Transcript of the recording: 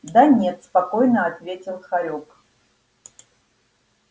да нет спокойно ответил хорёк